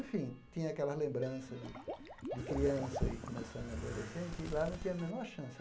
Enfim, tinha aquelas lembranças de de criança e começando adolescente, e lá não tinha a menor chance.